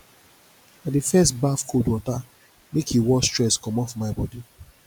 i dey first baff cold water make e wash stress comot for my bodi